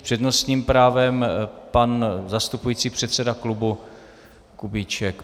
S přednostním právem pan zastupující předseda klubu Kubíček.